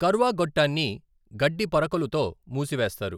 కర్వా గొట్టాన్ని గడ్డి పరకలుతో మూసివేస్తారు.